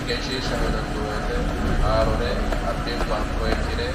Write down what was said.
Egensiishshaho yinanni woyte haarore albikkunni anfoyikkire